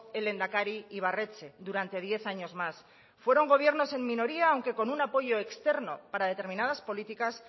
el lehendakari ibarretxe durante diez años más fueron gobiernos en minoría aunque con un apoyo externo para determinadas políticas